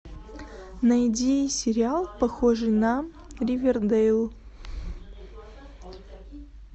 найди сериал похожий на ривердейл